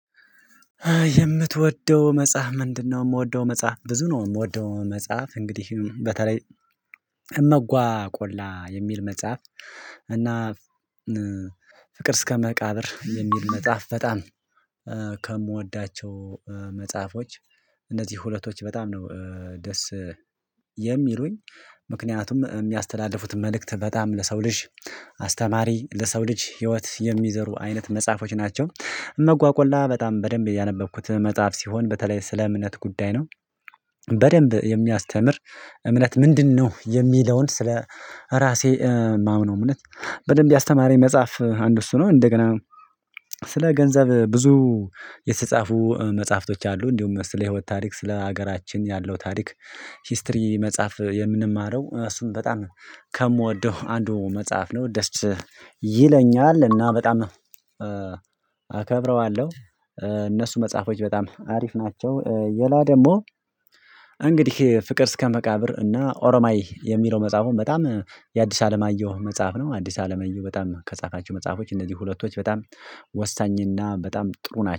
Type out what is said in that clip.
የምትወደው መጽሐፍ ምንድነው? የምወደው መጽሐፍ ብዙ ነው የምወደው መጽሐፍ እንግዲህ በተለይ እመጓ ቆላ የሚል መጽሐፍ እና ፍቅር እስከመቃብር የሚል መጽሐፍ በጣም ከምወዳቸው መጽሐፎች እነዚህ ሁለቶች በጣም ነው ደስ የሚሉኝ ምክንያቱም የሚያስተላልፉት መልእክት በጣም ለሰው ልጅ አስተማሪ ለሰው ልጅ ህይወት የሚዘሩ አይነት መጽሐፎች ናቸው። እመጓ ቆላ በጣም በደንብ ያነበብኩት መጽሐፍ ሲሆን በተለይ ስለ እምነት ጉዳይ ነው። በደንብ የሚያስተምር እምነት ምንድነው የሚለውን ስለ ራሴ የማምነው እምነት በደንብ ያስተማረኝ መጽሐፍ አንድ እሱ ነው። እንደገና ስለ ገንዘብ ብዙ የተጻፉ መጽሐፍቶች አሉ። እንዲሁም ስለ ህይወት ታሪክ ስለ ሀገራችን ያለው ታሪክ ሂስትሪ መጽሐፍ የምንማረው እሱም በጣም ከምወደው አንዱ መጽሐፍ ነው። ደስ ይለኛል እና በጣም አከብረዋለሁ። እነሱ መጽሐፎች በጣም አሪፍ ናቸው። ሌላ ደግሞ እንግዲህ ፍቅር እስከመቃብር እና ኦሮማይ የሚለው መጽሐፉን በጣም የአዲስ አለማየሁ መጽሐፍ ነው። አዲስ አለማየሁ በጣም ከጻፋቸው መጽሐፎች እነዚህ ሁለቶች በጣም ወሳኝና በጣም ጥሩ ናቸው